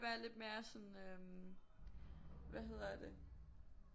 Være lidt mere sådan øh hvad hedder det